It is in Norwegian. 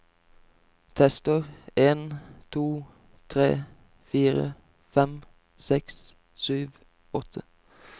Tester en to tre fire fem seks sju åtte